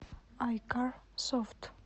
айкар софт